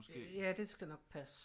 Ja det skal nok passe